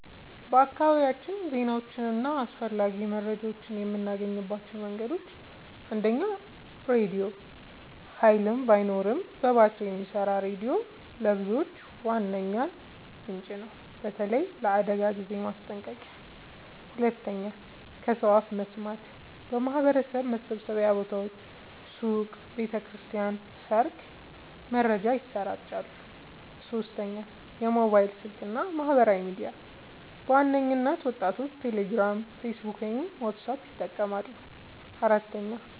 በአካባቢያችን ዜናዎችን እና አስፈላጊ መረጃዎችን የምናገኝባቸው መንገዶች፦ 1. ራድዮ – ኃይል ባይኖርም በባትሪ የሚሰራ ሬዲዮ ለብዙዎች ዋነኛ ምንጭ ነው፣ በተለይ ለአደጋ ጊዜ ማስጠንቀቂያ። 2. ከሰው አፍ መስማት – በማህበረሰብ መሰብሰቢያ ቦታዎች (ሱቅ፣ ቤተ ክርስቲያን፣ ሰርግ) መረጃ ይሰራጫል። 3. ሞባይል ስልክ እና ማህበራዊ ሚዲያ – በዋናነት ወጣቶች ቴሌግራም፣ ፌስቡክ ወይም ዋትስአፕ ይጠቀማሉ። 4.